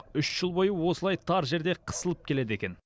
үш жыл бойы осылай тар жерде қысылып келеді екен